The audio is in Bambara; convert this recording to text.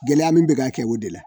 Gɛlɛya min bɛ k'a kɛ o de la